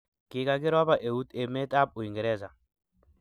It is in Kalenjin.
kikakiropa eut emet ab Uingereza